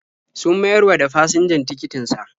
Sun mayar wa da fasinjan tikitin sa.